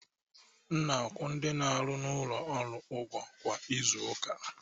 Ana m akwụ ndị na-arụ n'ụlọ ọrụ ụgwọ kwa izu ụka.